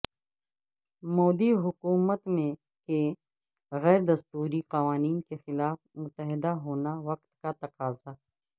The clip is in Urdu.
مودی حکومت کے غیر دستوری قوانین کے خلاف متحد ہونا وقت کا تقاضہ